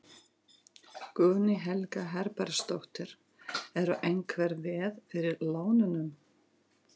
Guðný Helga Herbertsdóttir: Eru einhver veð fyrir lánunum?